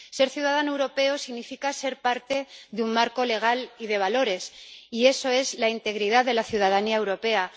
Ser ciudadano europeo significa ser parte de un marco legal y de valores, y eso es la integridad de la ciudadanía europea.